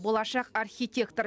болашақ архитектор